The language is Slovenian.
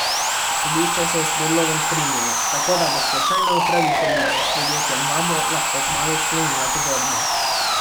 Sodišče se je s predlogom strinjalo, tako da bo stečajna upraviteljica s podjetjem Vabo lahko kmalu sklenila pogodbo.